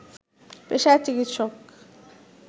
পেশায় চিকিৎসক